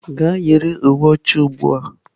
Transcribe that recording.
Gaa yiri uwe ọcha ugbu a!